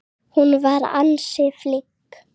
Hún var ansi flink.